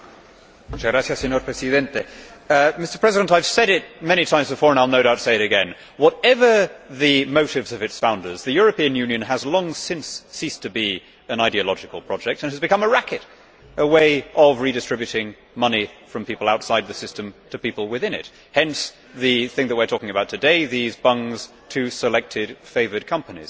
Mr President, I have said it many times before and I will no doubt say it again whatever the motives of its founders, the European Union has long since ceased to be an ideological project and it has become a racket, a way of redistributing money from people outside the system to people within it. Hence, the thing we are talking about today these bungs to selected favoured companies.